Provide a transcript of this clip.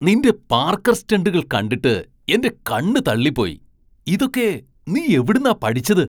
നിൻ്റെ പാർക്കർ സ്റ്റണ്ടുകൾ കണ്ടിട്ട് എൻ്റെ കണ്ണ് തള്ളിപ്പോയി, ഇതൊക്കെ നീ എവിടുന്നാ പഠിച്ചത്?